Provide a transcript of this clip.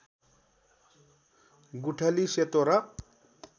गुठली सेतो र